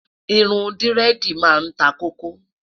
irún diredi má n tá koko